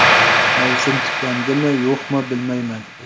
Mavsum tiklanadimi, yo‘qmi bilmayman.